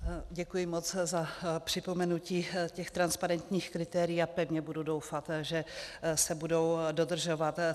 Děkuji moc za připomenutí těch transparentních kritérií a pevně budu doufat, že se budou dodržovat.